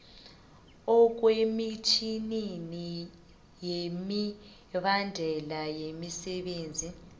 ekomitjhinini yemibandela yemsebenzini